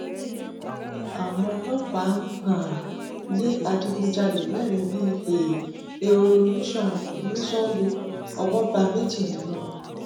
àwọn ọlọpàá um lé adigunjalè mẹrin bíi um ehoro ní sango owó bá méjì nínú wọn